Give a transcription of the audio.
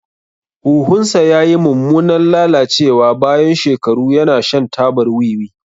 Huhunsa ya yi mummunan lalacewa bayan shekaru yana shan tabar wiwi.